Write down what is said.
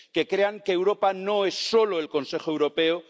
que crean que Europa no es solo el Consejo Europeo